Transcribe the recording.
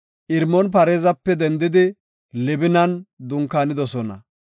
Irmoon-Pareezape dendidi Libinan dunkaanidosona.